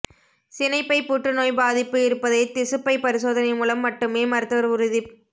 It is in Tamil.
சினைப்பை புற்றுநோய் பாதிப்பு இருப்பதைத் திசுப்பை பரிசோதனை மூலம் மட்டுமே மருத்துவர் உறுதிப்